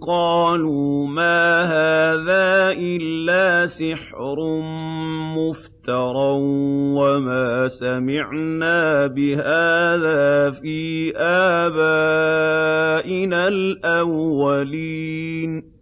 قَالُوا مَا هَٰذَا إِلَّا سِحْرٌ مُّفْتَرًى وَمَا سَمِعْنَا بِهَٰذَا فِي آبَائِنَا الْأَوَّلِينَ